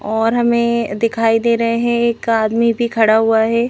और हमें दिखाई दे रहे हैं एक आदमी भी खड़ा हुआ है।